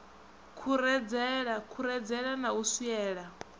khuredzela khuredzela na u swiela